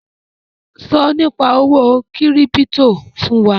Sọ Nípa owó kírípítò fún wa!